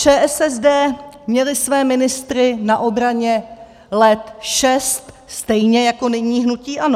ČSSD měli své ministry na obraně let šest, stejně jako nyní hnutí ANO.